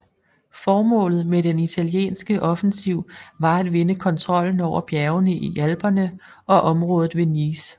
Formålet med den italienske offensiv var at vinde kontrollen over bjergene i Alperne og området ved Nice